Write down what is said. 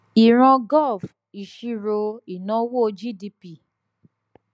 ìran gov ìṣirò ìnáwó g-d-p